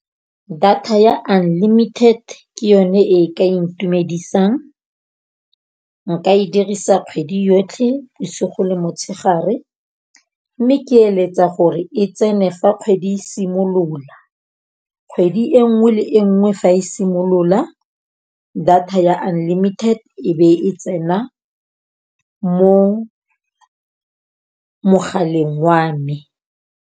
Data ya unlimited ke yone e ka ntumedisang. Nka e dirisa kgwedi yotlhe bosigo le motshegare. Mme ke eletsa gore e tsene fa kgwedi e simolola. Kgwedi e nngwe le e nngwe fa e simolola data ya unlimited e be e tsena mo mogaleng wa me.